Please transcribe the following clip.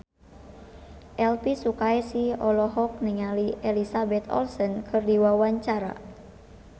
Elvy Sukaesih olohok ningali Elizabeth Olsen keur diwawancara